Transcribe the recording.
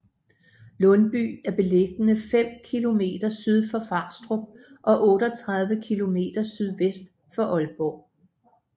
Lundby er beliggende fem kilometer syd for Farstrup og 38 kilometer sydvest for Aalborg